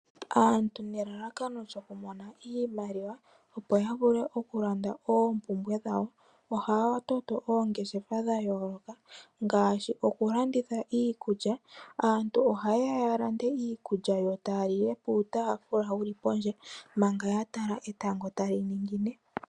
Aantu nelalakano lyokumona iimaliwa opo ya vule okulanda oompumbwe dhawo, ohaya toto oongeshefa dha yooloka. Ngaashi okulanditha iikulya. Aantu ohaye ya ya lande iikulya yo taa lile piitafula yili pondje, manga ya tala etango tali ningine.